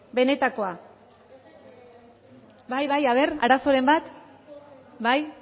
benetakoa bai bai a ver arazoren bat bai